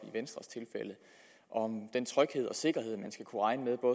og om den tryghed og sikkerhed